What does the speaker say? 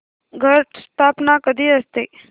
घट स्थापना कधी असते